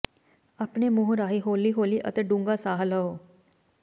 ਆਪਣੇ ਮੂੰਹ ਰਾਹੀਂ ਹੌਲੀ ਹੌਲੀ ਅਤੇ ਡੂੰਘਾ ਸਾਹ ਲਓ